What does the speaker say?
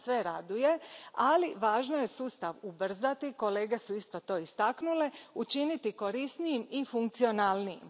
To nas sve raduje, ali važno je sustav ubrzati, kolege su isto to istaknule, učiniti korisnijim i funkcionalnijim.